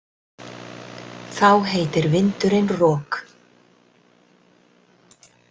Þá heitir vindurinn rok.